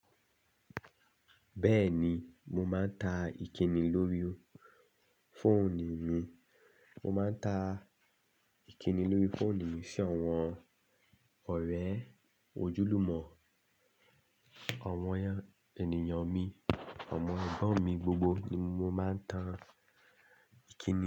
Bẹ́ẹ̀ni, mo máa ń tán ìkíni lórí fóònù mi. Mo máa ń tan ìkíni lórí fóònù mi, si àwọn ọ̀rẹ́, ojúlùmọ̀, àwọn ènìyàn mi, àwọn ẹ̀gbọ́n mi gbogbo ni mo máa ń tan ìkíni.